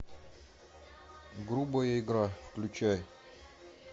грубая игра включай